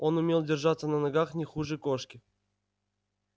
он умел держаться на ногах не хуже кошки